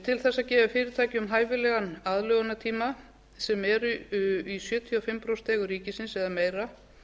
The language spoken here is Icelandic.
til þess að gefa fyrirtækjum hæfilegan aðlögunartíma sem eru í sjötíu og fimm prósent eigu ríkisins eða meira